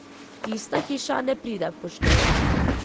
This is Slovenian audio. Tista hiša ne pride v poštev.